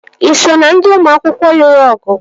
Ị so na ndị ụmụ akwụkwọ lụrụ ọgụ?